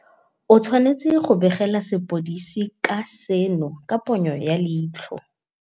o tshwanetse go begela sepodisi ka ga seno ka ponyo ya leitlho.